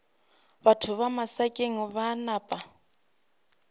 batho ba masakeng ba napa